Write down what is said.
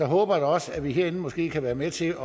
håber da også at vi herinde måske kan være med til